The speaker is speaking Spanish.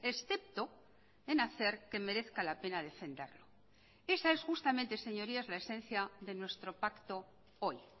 excepto en hacer que merezca la pena defenderlo esa es justamente señorías la esencia de nuestro pacto hoy